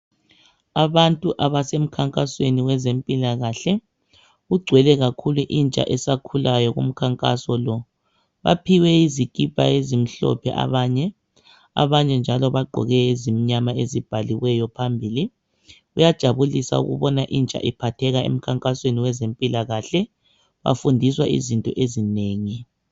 Abantu abasemkhankasweni wezempilakahle. Kugcwele kakhulu intsha esakhulayo kumkhankaso lo. Baphiwe izikipa ezimhlophe abanye, abanye njalo bagqoke ezimyama ezibhaliweyo phambili. Kuyajabulisa ukubona intsha iphatheka emkhankasweni wezempilakahle, bafundiswa izinto ezinengi.